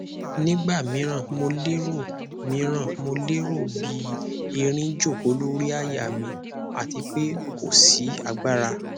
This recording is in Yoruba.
nigba miran mo lero miran mo lero bi erin joko lori àyà mi ati pe ko si agbara